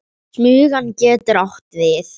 Smugan getur átt við